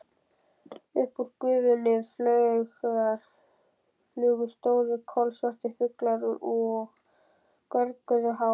Upp úr gufunni flugu stórir, kolsvartir fuglar og görguðu hátt.